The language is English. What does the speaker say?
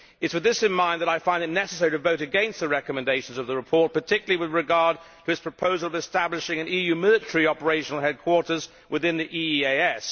It is with this in mind that I find it necessary to vote against the recommendations of the report, particularly with regard to its proposal on establishing an EU military operational headquarters within the EEAS.